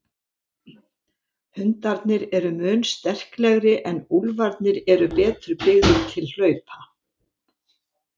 Hundarnir eru mun sterklegri en úlfarnir eru betur byggðir til hlaupa.